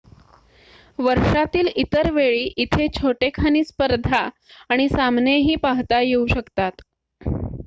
वर्षातील इतर वेळी इथे छोटेखानी स्पर्धा आणि सामनेही पाहता येऊ शकतात